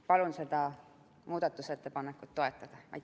Palun seda muudatusettepanekut toetada!